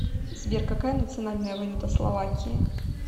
сбер какая национальная валюта словакии